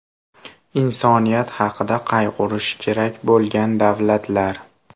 Insoniyat haqida qayg‘urishi kerak bo‘lgan davlatlar.